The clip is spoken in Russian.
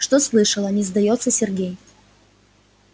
что слышала не сдаётся сергей